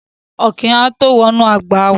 Ọ̀kín á tó wọ inú ọgbà wá.